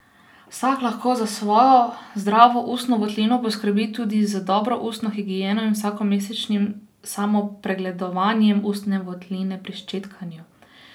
Vsak lahko za svojo zdravo ustno votlino poskrbi tudi z dobro ustno higieno in vsakomesečnim samopregledovanjem ustne votline pri ščetkanju.